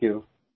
thank you